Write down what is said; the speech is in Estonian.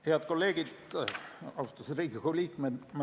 Head kolleegid, austatud Riigikogu liikmed!